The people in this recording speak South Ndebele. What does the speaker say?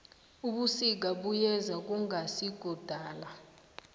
ubusika buyeza kungasikudala